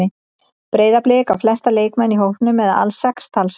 Breiðablik á flesta leikmenn í hópnum eða alls sex talsins.